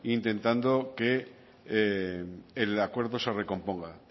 intentando que el acuerdo se recomponga